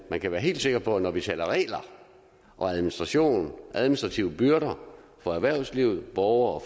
man kan være helt sikker på at når vi taler regler og administration administrative byrder for erhvervslivet og borgere